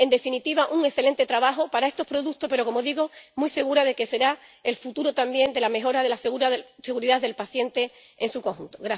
En definitiva, un excelente trabajo para estos productos, pero —como digo— estoy muy segura de que será el futuro también de la mejora de la seguridad del paciente en su conjunto.